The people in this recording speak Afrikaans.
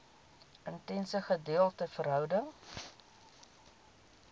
intense gedeelde verhouding